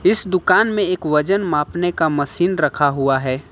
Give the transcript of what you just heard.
इस दुकान में एक वजन मापने का मशीन रखा हुआ है।